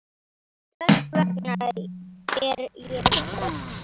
Þess vegna er ég hræddur.